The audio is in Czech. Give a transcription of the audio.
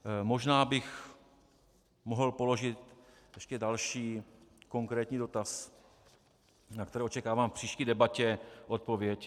Možná bych mohl položit ještě další konkrétní dotaz, na který očekávám v příští debatě odpověď.